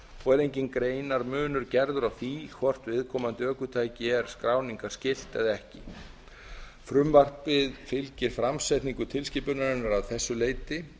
og er enginn greinarmunur gerður á því hvort viðkomandi ökutæki er skráningarskylt eða ekki frumvarpið fylgir framsetningu tilskipunarinnar að þessu leyti